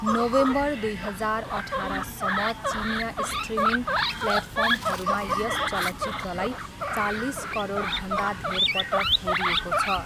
November दुई हजार अठारसम्म चिनियाँ स्ट्रिमिङ प्लेटफर्महरूमा यस चलचित्रलाई चालिस करोडभन्दा धेर पटक हेरिएको छ।